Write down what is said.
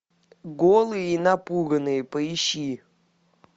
голые и напуганные поищи